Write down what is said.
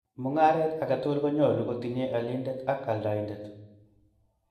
Mung'aret age tugul konyolu kotinye alindet ak aldaindet